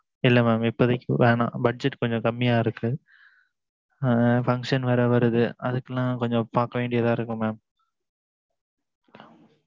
இல்ல mam இப்போதைக்கு வேணாம் budget கொஞ்சம் கம்மியா இருக்கு function வேற வருது அதுக்குலாம் கொஞ்சம் பாக்க வேண்டியதா இருக்கு mam